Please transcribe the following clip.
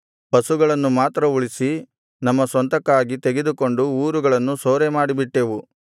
ಪಶುಗಳನ್ನು ಮಾತ್ರ ಉಳಿಸಿ ನಮ್ಮ ಸ್ವಂತಕ್ಕಾಗಿ ತೆಗೆದುಕೊಂಡು ಊರುಗಳನ್ನು ಸೂರೆಮಾಡಿಬಿಟ್ಟೆವು